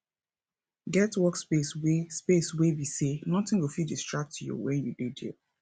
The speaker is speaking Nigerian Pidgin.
get work space wey space wey be sey nothing go fit distract you when you dey there